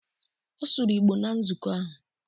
Ọ sụrụ Igbo na nzukọ ahụ.